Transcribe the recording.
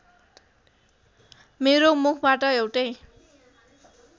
मेरो मुखबाट एउटै